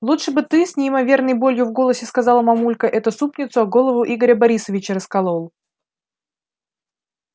лучше бы ты с неимоверной болью в голосе сказала мамулька эту супницу о голову игоря борисовича раскокал